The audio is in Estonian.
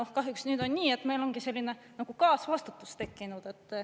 Kahjuks nüüd on nii, et meil ongi selline nagu kaasvastutus tekkinud.